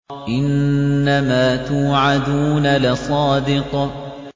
إِنَّمَا تُوعَدُونَ لَصَادِقٌ